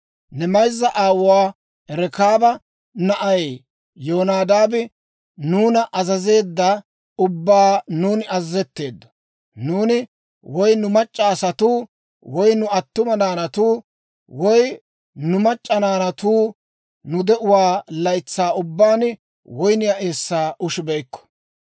Nu mayzza aawuwaa Rekaaba na'ay Yonadaabi nuuna azazeedda ubbaw nuuni azazetteeddo. Nuuni, woy nu mac'c'a asatuu, woy nu attuma naanatuu, woy nu mac'c'a naanatuu nu de'uwaa laytsaa ubbaan woyniyaa eessaa ushibeykko;